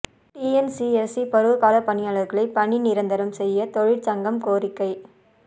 TNCSC பருவகாலப் பணியாளர்களைப் பணி நிரந்தரம் செய்ய தொழிற்சங்கம் கோரிக்கை